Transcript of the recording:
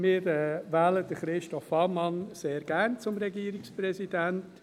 Wir wählen Christoph Ammann sehr gerne zum Regierungspräsidenten.